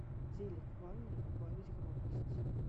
телик в ванной убавить громкость